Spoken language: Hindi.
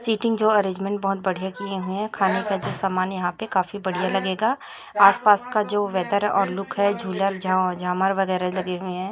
सेटिंग जो अरेंजमेंट बहोत बढ़िया किए हुए है खाने का सामान यहाँ पे काफी बढ़िया लगेगा आसपास का जो वेदर और लुक है झूलर झ झामर वगैरा लगे हुए है।